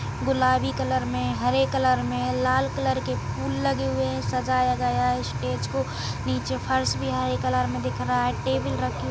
गुलाबी कलर मे हरे कलर मे लाल कलर के फूल लगे हुए हैं सजाया गया है स्टेज को नीचे फर्स भी हरे कलर मे दिख रहा है टेबल रखी --